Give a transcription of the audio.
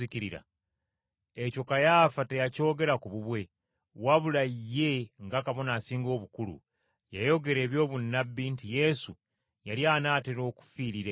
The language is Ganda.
Ekyo Kayaafa teyakyogera ku bubwe, wabula ye nga Kabona Asinga Obukulu, yayogera eby’obunnabbi nti Yesu yali anaatera okufiirira eggwanga,